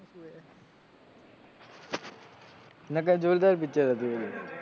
નકર જોરદાર picture હતું એ